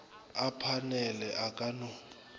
a phanele a ka no